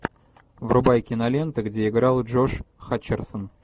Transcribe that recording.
врубай киноленты где играл джош хатчерсон